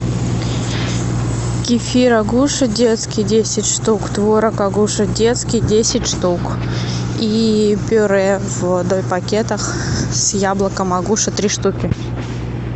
кефир агуша детский десять штук творог агуша детский десять штук и пюре в дой пакетах с яблоком агуша три штуки